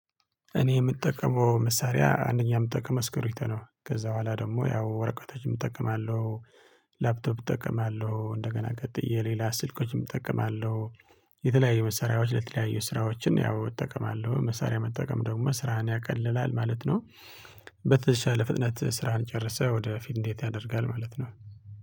እኔ የምጠቀመው መሳሪያ አንደኛ የምጠቀመው እስክርቢቶ ነው ከዛ በኋላ ደግሞ ያው ወረቀቶችም እጠቀማለሁ ላፕቶፕ እጠቀማለሁ እንደገና ቀጥዬ ሌላ ስልኮችም እጠቀማለሁ። የተለያዩ መሰሪያዎች ለተለያዩ ስራዎችን ያው እጠቀማለሁ መሳሪያ መጠቀም ደግሞ ስራን ያቃልላል ማለት ነው። በተሻለ ፍጥነት ስራህን ጨርሰህ ወደ ፊት እንዴት ያደርጋል ማለት ነው